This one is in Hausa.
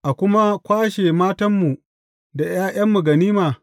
A kuma kwashe matanmu da ’ya’yanmu ganima.